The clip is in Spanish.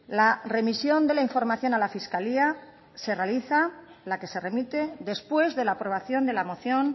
la remisión de la información a la fiscalía se realiza la que se remite después de la aprobación de la moción